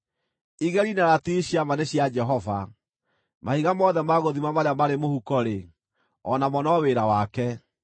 Igeri na ratiri cia ma nĩ cia Jehova; mahiga mothe ma gũthima marĩa marĩ mũhuko-rĩ, o namo no wĩra wake.